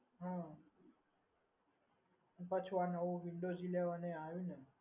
હા પાછું windows eleven generation પણ આવ્યું ને